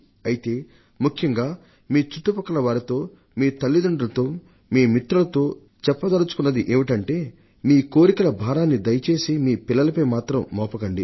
అయితే ముఖ్యంగా మీ చుట్టుపక్కల వారితో మీ తల్లితండ్రులతో మీ మిత్రులతో చెప్పదల్చుకున్నదేమిటంటే మీ కోరికల భారాన్ని దయచేసి మీ పిల్లలపై మాత్రం మోపకండి